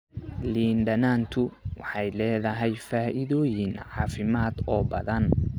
Liin dhanaantu waxay leedahay faa'iidooyin caafimaad oo badan.